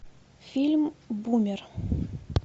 фильм бумер